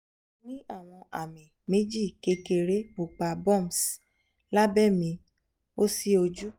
mo ni awọn meeji kekere pupa bumps labẹ mi osi oju